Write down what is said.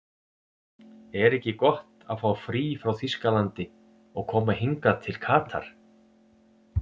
Er ekki gott að fá frí frá Þýskalandi og koma hingað til Katar?